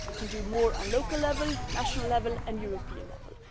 We can do more at local level, national level and at European level.